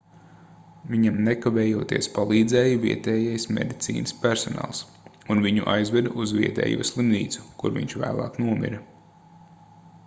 viņam nekavējoties palīdzēja vietējais medicīnas personāls un viņu aizveda uz vietējo slimnīcu kur viņš vēlāk nomira